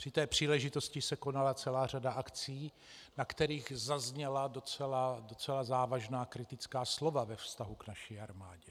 Při té příležitosti se konala celá řada akcí, na kterých zazněla docela závažná kritická slova ve vztahu k naší armádě.